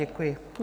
Děkuji.